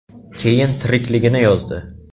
Keyin tirikligini yozdi.